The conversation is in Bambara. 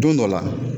Don dɔ la